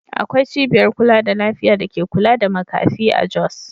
Akwai cibiyar kula da lafiya da ke kula da makafi a Jos.